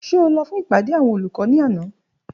Ṣe o lọ fun ipade awọn olukọ ni ana?